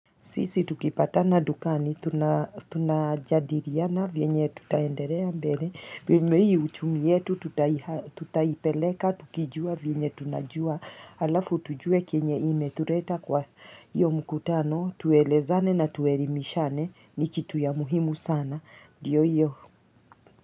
Sisi tukipatana dukani, tunajadiliana, vyenye tutaendelea mbele, vile ii uchumi yetu, tutaipeleka, tukijua vyenye tunajua, alafu tujue kenye imetuleta kwa iyo mkutano, tuelezane na tuelimishane, ni kitu ya muhimu sana, ndiyo iyo.